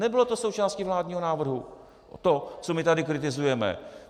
Nebylo to součástí vládního návrhu, to, co my tady kritizujeme.